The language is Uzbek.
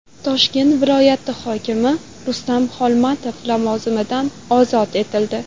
Toshkent viloyati hokimi Rustam Xolmatov lavozimidan ozod etildi.